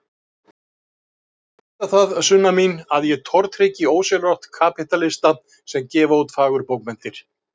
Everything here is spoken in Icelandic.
Þú skalt vita það, Sunna mín, að ég tortryggi ósjálfrátt kapítalista sem gefa út fagurbókmenntir.